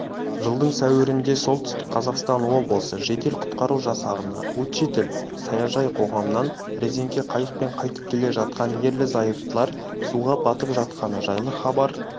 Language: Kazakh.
жылдың сәуірінде солтүстік қазақстан облысы жедел-құтқару жасағына учитель саяжай қоғамынан резеңке қайықпен қайтып келе жатқан ерлі-зайыптылар суға батып жатқаны жайлы хабар